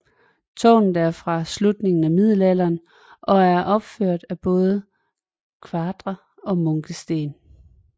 Tårnet er fra slutningen af middelalderen og er opført af både kvadre og munkesten